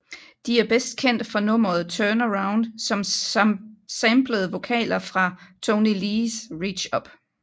De er best kendt for nummeret Turn Around som samplede vokaler fra Toney Lees Reach Up